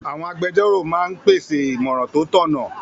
Àwọn agbẹjórò máa n pèsè ìmọ̀ràn tó tọ̀nà